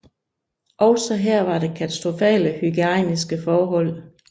Også her var der katastrofale hygiejniske forhold